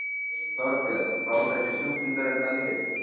Þorbjörn: Fá þessir sjúklingar þetta lyf?